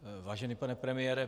Vážený pane premiére.